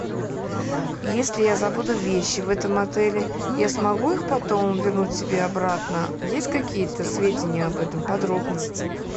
если я забуду вещи в этом отеле я смогу их потом вернуть себе обратно есть какие то сведения об этом подробности